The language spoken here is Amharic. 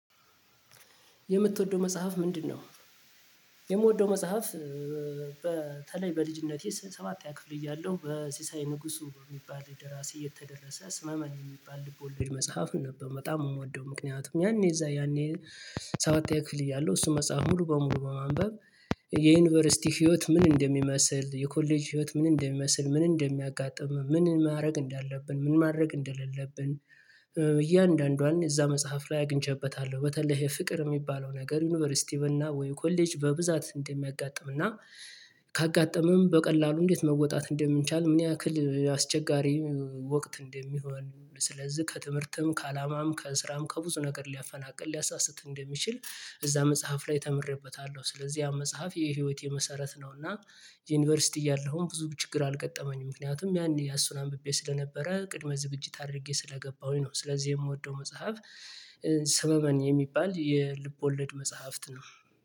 የምትወደው መጽሐፍ ምንድነው? የምወደው መጽሐፍ በተለይ በልጅነቴ ሰባተኛ ክፍል እያለሁ በሲሳይ ንጉሱ የሚባል ደራሲ የተደረሰ ሰመመን የሚባል ልቦለድ መጽሐፍ ነበር። በጣም የምወደው ምክንያቱም ያኔ እዚያ ያኔ ሰባተኛ ክፍል እያለሁ እሱ መጽሐፍ ሙሉ በሙሉ በማንበብ የዩኒቨርሲቲ ህይወት ምን እንደሚመስል የኮሌጅ ህይወት ምን እንደሚመስል ምን እንደሚያጋጥምህ ምን ማድረግ እንዳለብን ምን ማድረግ እንደሌለብን። እያንዳንዷን እዚያ መጽሐፍ ላይ አግኝቼበታለሁ በተለይ የፍቅር የሚባለው ነገር ዩኒቨርሲቲ ወይም ኮሌጅ በብዛት እንደሚያጋጥም እና ካጋጠመም በቀላሉ እንዴት መወጣት እንደምንቻል ምን ያክል አስቸጋሪ ወቅት እንደሚሆን ስለዚህ ከትምህርትም ከአላማም ከስራም ከብዙ ነገር ሊያፈናቅል ሊያሳስት እንደሚችል እዚያ መጽሐፍ ላይ ተምሬበታለሁ። ስለዚህ ያ መጽሐፍ የህይወት መሰረት ነውና። ዩኒቨርሲቲ እያለሁም ብዙ ችግር አልገጠመኝም ምክንያቱም ያኔ እሱን አንብቤ ስለነበረ ቅድመ ዝግጅት አድርጌ ስለገባሁኝ ነው። ስለዚህ የምወደው መጽሐፍ ሰመመን የሚባል የልብ ወለድ መጽሐፍት ነው